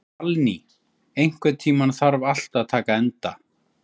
Salný, einhvern tímann þarf allt að taka enda.